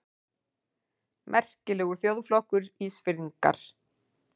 Merkilegur þjóðflokkur, Ísfirðingar!